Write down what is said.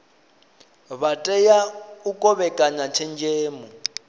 vha tea u kovhekana tshenzhemo